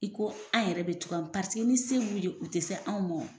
I ko an yɛrɛ bɛ togoya mun paseke ni se b'u ye u tɛ se anw mɔn.